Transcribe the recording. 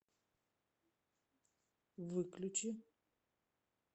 выключи